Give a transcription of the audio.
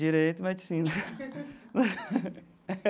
Direito e medicina.